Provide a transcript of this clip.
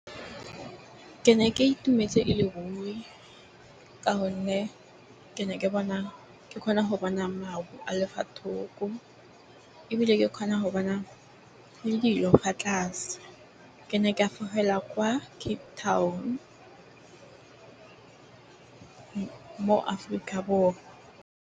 Ke ne ke itumetse e le ruri ka gonne ke ne ke bona ke kgona go bona maru a le fa thoko, ebile ke kgona go na le dilo fa tlase. Ke ne ke fofela kwa Cape Town, Aforika Borwa.